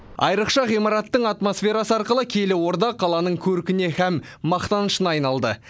айрықша ғимараттың атмосферасы арқылы киелі орда қаланың көркіне һәм мақтанышына айналды